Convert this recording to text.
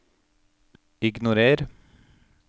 ignorer